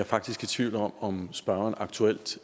faktisk i tvivl om om spørgeren aktuelt